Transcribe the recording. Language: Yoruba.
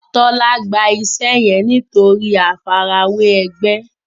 Tola gbà iṣé yén nitori àfi ara wẹ ègbé